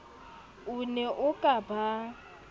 o ne a ka ba